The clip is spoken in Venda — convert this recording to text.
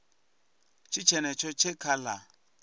tshi tshetsho tshe kha la